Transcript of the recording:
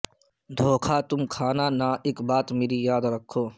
دھوکہ تم کھانا نہ اک بات مری یاد رکھو